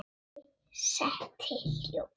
Mig setti hljóða.